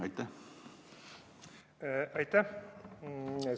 Aitäh!